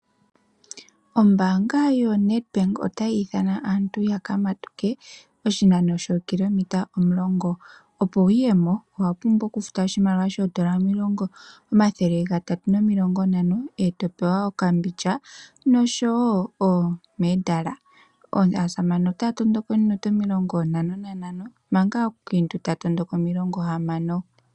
Ombaanga yo Net Bank otayi ithana aantu yaka matuke oshinano shookilometa omulongo. Opo wuyemo owapumbwa oku futa oshimaliwa shoondola omathele gatatu nomilongo ntano eto pewe okambindja noshowo omedala. Aasamane otaya matuka ominute omilongo ntantano nantano manga aakiintu taatondoka omilongo hamano.